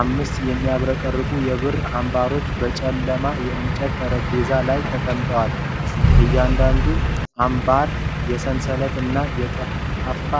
አምስት የሚያብረቀርቁ የብር አምባሮች በጨለማ የእንጨት ጠረጴዛ ላይ ተቀምጠዋል። እያንዳንዱ አምባር የሰንሰለት እና የጠፍጣፋ